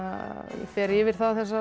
fer yfir þessar